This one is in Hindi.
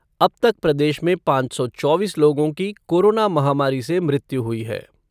अब तक प्रदेश में पाँच सौ चौबीस लोगों की कोरोना महामारी से मृत्यु हुई है।